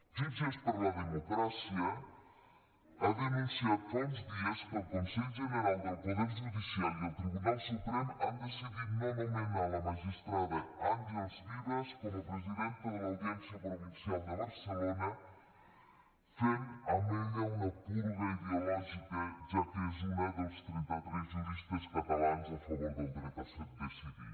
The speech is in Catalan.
jutges per la democràcia ha denunciat fa uns dies que el consell general del poder judicial i el tribunal suprem han decidit no nomenar la magistrada àngels vives com a presidenta de l’audiència provincial de barcelona fent amb ella una purga ideològica ja que és una dels trenta tres juristes catalans a favor del dret a decidir